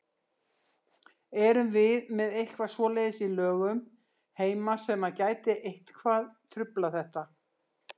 Erum við með eitthvað svoleiðis í lögum heima sem að gæti eitthvað truflað þetta?